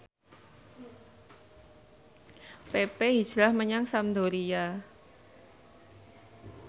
pepe hijrah menyang Sampdoria